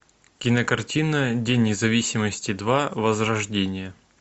кинокартина день независимости два возрождение